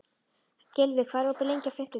Gylfi, hvað er opið lengi á fimmtudaginn?